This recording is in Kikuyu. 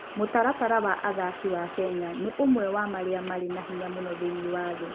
Mũtaratara wa athaki wa Kenya nĩ ũmwe wa marĩa marĩ na hinya mũno thĩinĩ wa thĩ.